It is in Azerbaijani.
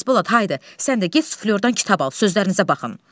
Xasbolat, haydı, sən də get, sözülərdən kitab al, sözlərinizə baxın.